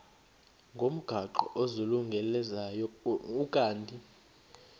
ngomgaqo ozungulezayo ukanti